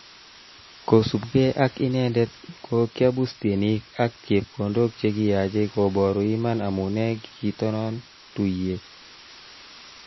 Kosubkei ak inendet kokiabus tienik ak chepkondok chekiyache koburu iman amune kitonon tuiyet